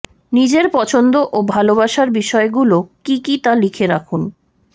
নিজের পছন্দ ও ভালোবাসার বিষয়গুলো কি কি তা লিখে রাখুন